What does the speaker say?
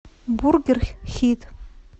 бургер хит